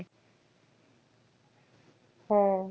হ্যাঁ।